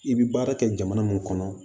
I bɛ baara kɛ jamana mun kɔnɔ